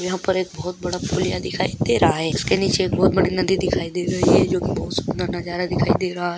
यहाँ पर एक बहोत बड़ा पुलियाँ दिखाई दे रहा है इसके नीचे एक बहोत बड़ी नदी दिखाई दे रही है जोकि बहोत सुंदर नजारा दिखाई दे रहा हैं।